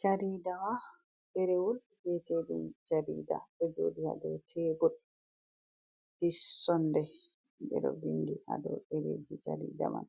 Jariida on. Ɗerewol mbiyete ɗum jarida. Ɗo jooɗi haa dou tebur. Dis sondei, ɓe ɗo vindi haa dou dereeji jarida man.